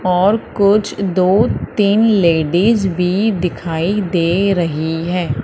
और कुछ दो तीन लेडिस भी दिखाई दे रही है।